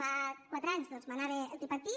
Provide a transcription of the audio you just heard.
fa quatre anys manava el tripartit